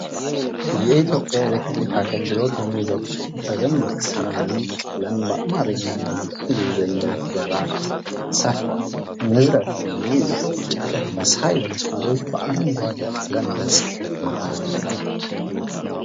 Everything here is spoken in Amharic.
የኢትዮጵያ ኤሌትሪክ አገልግሎት የሚለው ጽሁፍ በደማቅ ሰማያዊ ቀለም በአማረኛ እና በእንግሊዘኛ ፊደላት ሰፍረዋል። ንዝረትን የሚያመላክቱ ጨረር መሳይ መስመሮች በአርንጓዴ ቀለም በጽሁፎቹ መሃል ተቀምጠዋል።